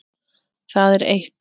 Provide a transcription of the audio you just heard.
Það er eitt.